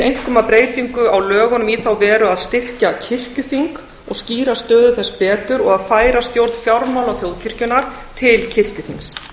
einkum að breytingu á lögunum í þá veru að styrkja kirkjuþing og skýra stöðu þess betur og færa stjórn fjármála þjóðkirkjunnar til kirkjuþings